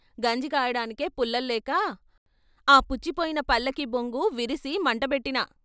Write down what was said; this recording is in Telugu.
గంజి కాయడానికే పుల్ల లేక ఆ పుచ్చిపోయిన పల్ల కీ బొంగు విరిసి మంటబెట్టినా.